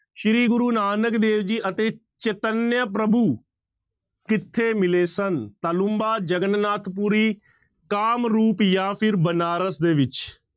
ਸ੍ਰੀ ਗੁਰੂ ਨਾਨਕ ਦੇਵ ਜੀ ਅਤੇ ਚੇਤੰਨਿਆ ਪ੍ਰਭੂ ਕਿੱਥੇ ਮਿਲੇ ਸਨ, ਤਾਲੂੰਬਾ, ਜਗੰਨਾਥ ਪੁਰੀ, ਕਾਮਰੂਪ ਜਾਂ ਫਿਰ ਬਨਾਰਸ ਦੇ ਵਿੱਚ।